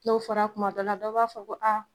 N'o fɔra tuma dɔ la, dɔ b'a fɔ ko